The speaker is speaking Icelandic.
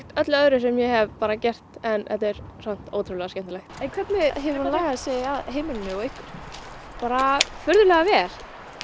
öllu öðru sem ég hef gert en samt ótrúlega skemmtilegt en hvernig hefur hún lagað sig að heimilinu og ykkur bara furðulega vel